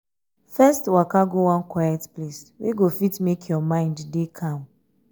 first waka go one quiet place wey go fit mek um yur mind dey calm